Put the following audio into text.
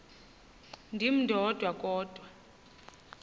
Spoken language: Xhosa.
ndim ndodwa kodwa